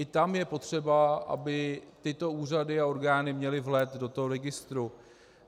I tam je potřeba, aby tyto úřady a orgány měly vhled do toho registru.